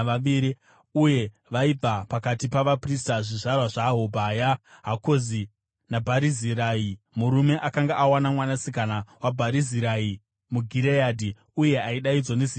Uye vaibva pakati pavaprista: zvizvarwa zvaHobhaya, Hakozi naBharizirai (murume akanga awana mwanasikana waBharizirai muGireadhi uye aidaidzwa nezita iroro).